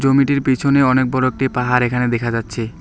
জমিটির পিছনে অনেক বড় একটি পাহাড় এখানে দেখা যাচ্ছে।